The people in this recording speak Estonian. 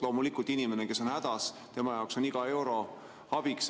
Loomulikult, inimesele, kes on hädas, on iga euro abiks.